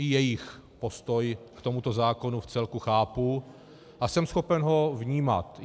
I jejich postoj k tomuto zákonu vcelku chápu a jsem schopen ho vnímat.